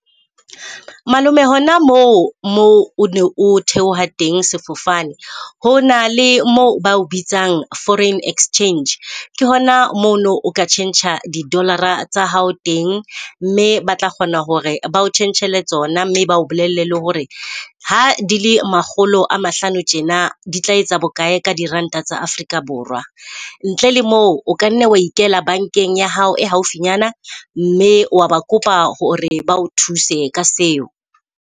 Malome hona moo moo o ne o theoha teng sefofane ho na le mo bao bitsang foreign exchange. Ke hona mono o ka tjhentjha di Dollar-a tsa hao teng, mme ba tla kgona hore ba o tjhentjhele tsona. Mme ba o bolelle le hore ha di le makgolo a mahlano tjena di tla etsa bokae ka diranta tsa Afrika Borwa. Ntle le moo o kanne wa ikela bankeng ya hao e haufi nyana, mme wa ba kopa hore ba o thuse ka seo.